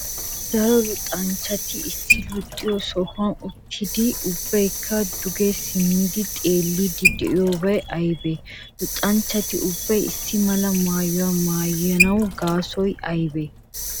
daro luxanchchati issi luxiyo sohuwan uttidi ubbaykka duge simmidi xeelliydi de'iyobaay aybee? luxanchchati ubbay issi malaa maayuwa maayanwu gasotay aybee?